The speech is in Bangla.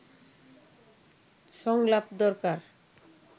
সংলাপ দরকার